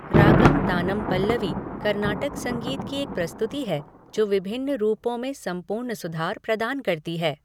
रागम तानम पल्लवी कर्नाटक संगीत की एक प्रस्तुति है जो विभिन्न रूपों में संपूर्ण सुधार प्रदान करती है।